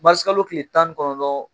kalo kile tan ni kɔnɔtɔn